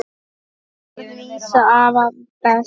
Þessi orð lýsa afa best.